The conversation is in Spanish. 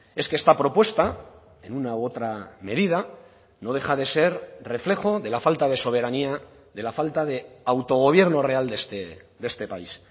es que esta propuesta en una u otra medida no deja de ser reflejo de la falta de soberanía de la falta de autogobierno real de este país